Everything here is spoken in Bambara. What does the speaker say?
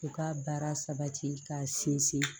U ka baara sabati k'a sinsin